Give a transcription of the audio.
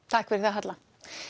takk fyrir það Halla